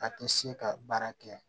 A tɛ se ka baara kɛ